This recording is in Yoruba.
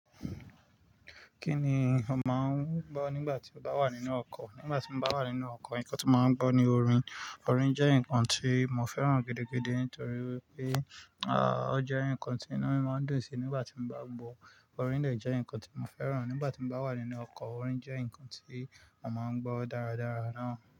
Kí ni o máa ń gbọ́ nígbà tí o bá wà nínú ọkọ̀? Nígbà tí mo bá wà nínú ọkọ̀, nǹkan tí mo máa ń gbọ́ ni orin. Orin jẹ́ nǹkan tí mo fẹ́ràn gidi-gidi nítoríwipé, ah, ó jẹ́ nǹkan tí inú mi máa ń dùn sí nígbà tí mo bá gbọ́. Orin de jẹ́ nǹkan tí mo fẹ́ràn nígbà tí mo bá wà nínú ọkọ̀. Orin jẹ́ nǹkan tí a máa ń gbọ́ dáradára náà.